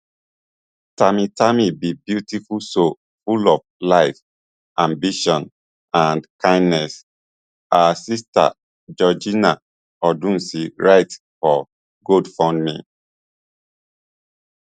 tami tami be beautiful soul full of light ambition and kindness her sister georgina odunsi write for gofundme